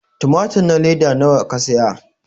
tumatur na leda nawa ka saya?